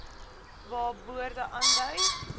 waar borde aandui